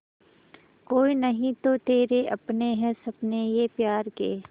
कोई नहीं तो तेरे अपने हैं सपने ये प्यार के